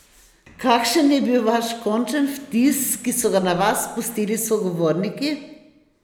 Kakšen je bil vaš končen vtis, ki so ga na vas pustili sogovorniki?